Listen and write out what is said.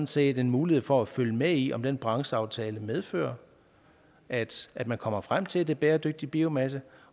set en mulighed for at følge med i om den brancheaftale medfører at at man kommer frem til at det er bæredygtig biomasse